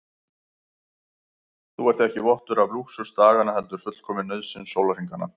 Þú ert ekki vottur af lúxus daganna heldur fullkomin nauðsyn sólarhringanna.